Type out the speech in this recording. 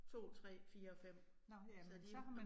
2 3 4 og 5, så de